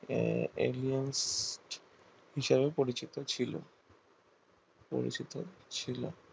admin হিসাবে পরিচিত ছিল পরিচিত ছিল